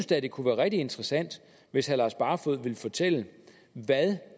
da det kunne være rigtig interessant hvis herre lars barfoed ville fortælle hvad